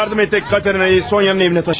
Yardım edək Katerinanı Soniyanın evinə daşıyalım.